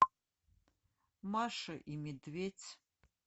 маша и медведь